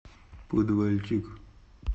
подвальчик